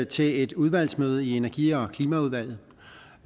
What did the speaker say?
til et udvalgsmøde i energi forsynings og klimaudvalget